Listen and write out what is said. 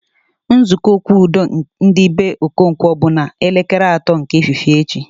Nzukọ okwu udo ndị be Okonkwo bụ na elekere atọ nke efifie echi